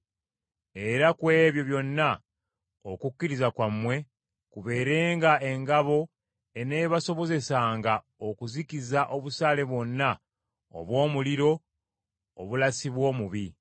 Era ku ebyo byonna okukkiriza kwammwe kubeerenga engabo eneebasobozesanga okuzikiza obusaale bwonna obw’omuliro obulasibwa omubi.